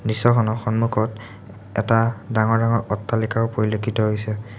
দৃশ্যখনৰ সন্মুখত এটা ডাঙৰ ডাঙৰ অট্টালিকাও পৰিলক্ষিত হৈছে।